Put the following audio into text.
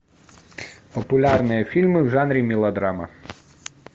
популярные фильмы в жанре мелодрама